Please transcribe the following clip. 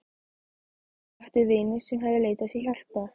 Ég átti vini sem höfðu leitað sér hjálpar.